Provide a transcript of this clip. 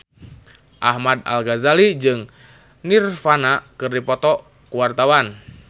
Ahmad Al-Ghazali jeung Nirvana keur dipoto ku wartawan